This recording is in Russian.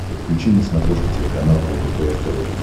подключи на смотрешке телеканал лдпр тв